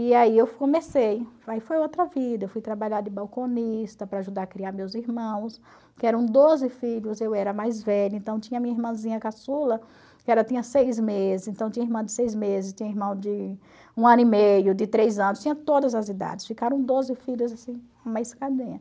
E aí eu comecei, aí foi outra vida, eu fui trabalhar de balconista para ajudar a criar meus irmãos, que eram doze filhos, eu era mais velha, então tinha minha irmãzinha caçula, que tinha seis meses, então tinha irmã de seis meses, tinha irmão de um ano e meio, de três anos, tinha todas as idades, ficaram doze filhos assim, uma